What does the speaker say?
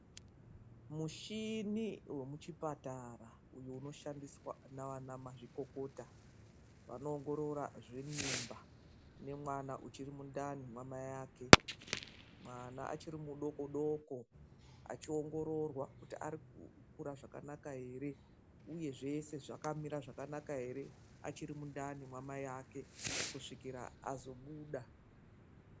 Michini wemuchi muchipatara inoshandisa nana mazvikokota vonoongorora zve mimbaemwana achiri mundani mamai vake mwana achiri mudoko doko achiongororwa kuti arikura zvakanaka here uye zvese zvakamira zvakanaka here achiri mundani mamai vake, kusvikara azobuda .